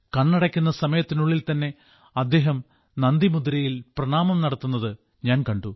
കണ്ണടയ്ക്കുന്ന സമയത്തിനുള്ളിൽ തന്നെ അദ്ദേഹം നന്ദി മുദ്രയിൽ പ്രണാമം നടത്തുന്നത് ഞാൻ കണ്ടു